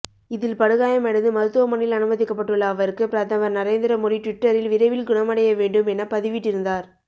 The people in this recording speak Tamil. இதில் படுகாயமடைந்து மருத்துவமனையில் அனுமதிக்கபட்டுள்ள அவருக்கு பிரதமர் நரேந்திர மோடி ட்விட்டரில் விரைவில் குணமடைய வேண்டும் என பதிவிட்டிருந்தார்